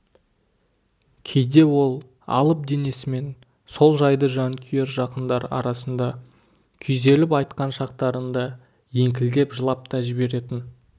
кейде ол алып денесімен сол жайды жанкүйер жақындар арасында күйзеліп айтқан шақтарында еңкілдеп жылап та жіберетін